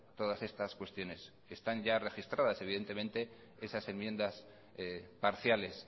todas estas cuestiones están ya registradas evidentemente esas enmiendas parciales